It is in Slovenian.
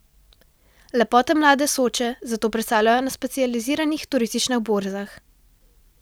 Lepote mlade Soče zato predstavljajo na specializiranih turističnih borzah.